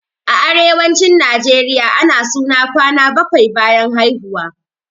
A arewacin najeriya ana suna kwana bakwai bayan haihuwa